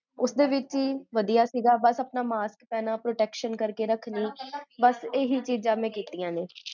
ਉਸ ਦੇ ਵਿੱਚ ਹੀ ਵਡਿਆ ਆਪਣਾ ਮਾਸਕ ਪੇਹ੍ਨ੍ਨਾ